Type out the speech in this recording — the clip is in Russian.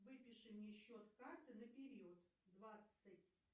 выпиши мне счет карты на период двадцать